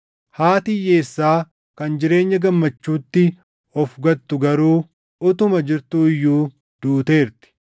Haati hiyyeessaa kan jireenya gammachuutti of gattu garuu utuma jirtuu iyyuu duuteerti.